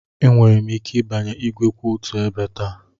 Enweghị m ike ịbanye igwe kwụ otu ebe taa.